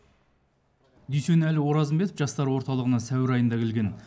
дүйсенәлі оразымбетов жастар орталығына сәуір айында келген